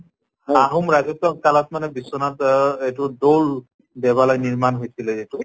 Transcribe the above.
আহোম ৰাজত্ব কালত মানে বিশ্বনাথ অ দৌল দেৱালয় নিৰ্মান হৈছিলে